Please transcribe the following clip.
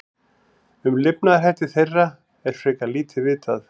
Um lifnaðarhætti þeirra er frekar lítið vitað.